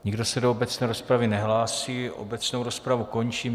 Nikdo se do obecné rozpravy nehlásí, obecnou rozpravu končím.